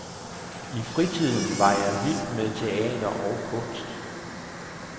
I fritiden var jeg vild med teater og kunst.